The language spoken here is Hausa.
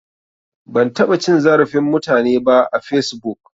Ban taɓa cin zarafin mutane ba a fesbuk